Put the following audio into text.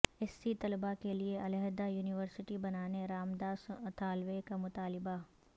S C طلبہ کیلئے علحدہ یونیورسٹی بنانے رام داس اتھاولے کا مطالبہ